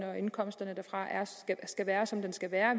og indkomsterne derfra skal være som de skal være